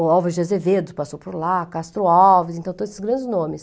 O Alves de Azevedo passou por lá, Castro Alves, então todos esses grandes nomes.